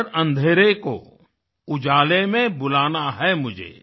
हर अँधेरे को उजाले में बुलाना है मुझे